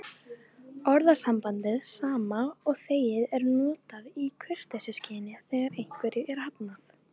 Orðasambandið sama og þegið er notað í kurteisisskyni þegar einhverju er hafnað.